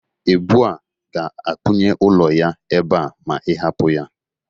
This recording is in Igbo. Ebụ a ga-akpọnye ọlụ ya ebe a ma ị hapụ ya